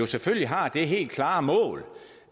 selvfølgelig har det helt klare mål